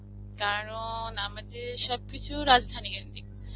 কারণ, আমাদের সবকিছুর রাজধানী .